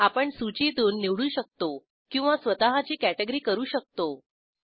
आपण सूचीतून निवडू शकतो किंवा स्वतःची कॅटॅगरी करू शकतो